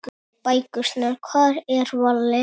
Bækurnar Hvar er Valli?